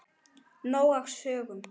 Nóg af sögum.